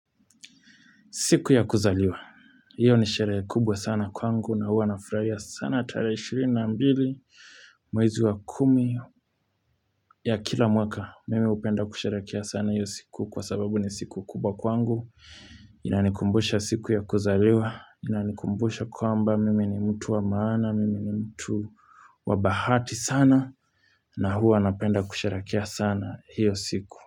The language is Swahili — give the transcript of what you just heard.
Siku ya kuzaliwa, hiyo ni sherekhe kubwa sana kwangu na hua nafurahia sana tarehe ishirina ambili mwezi wa kumi ya kila mwaka. Mimi upenda kusheherekhea sana hiyo siku kwa sababu ni siku kubwa kwangu, inanikumbusha siku ya kuzaliwa, inanikumbusha kwamba mimi ni mtu wa maana, mimi ni mtu wa bahati sana na huwa napenda kusheherekhea sana hiyo siku.